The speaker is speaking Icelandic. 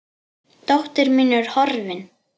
Dóttir mín er horfin.